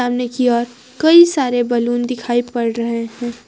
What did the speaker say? सामने की ओर कई सारे बैलून दिखाई पड़ रहे हैं।